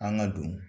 An ka don